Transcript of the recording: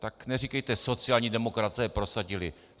Tak neříkejte sociální demokraté prosadili.